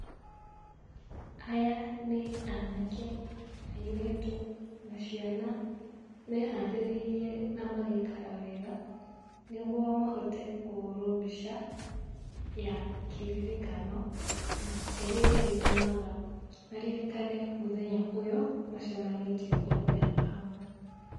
Aya nĩ anake na airĩtu na ciana meharĩrĩirie na magaikara wega nĩguo mahote kũhũrwo mbica ya kĩririkano na ĩrĩa ĩrĩtũmaga maririkane mũthenya ũyũ macemanĩtie othe hamwe.